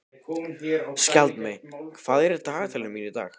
Skjaldmey, hvað er í dagatalinu mínu í dag?